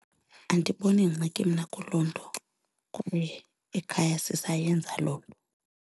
Andiboni ngxaki mna kuloo nto kwaye ekhaya sisayenza loo nto.